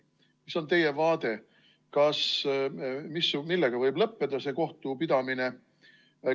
Mis on teie arvamus, millega võib lõppeda see kohtupidamine?